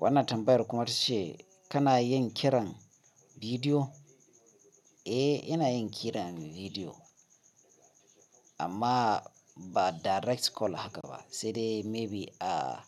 Wannan tambayar kuma tace kana yin kiran bidiyo? Eh, ina yin kiran bidiyo amma ba direct call haka ba sai dai maybe a